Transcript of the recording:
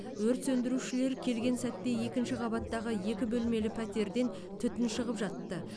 өрт сөндірушілер келген сәтте екінші қабаттағы екі бөлмелі пәтерден түтін шығып жатты